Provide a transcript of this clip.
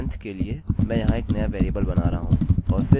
और फिर मैं इस वेल्यू को 2 से बदलूँगा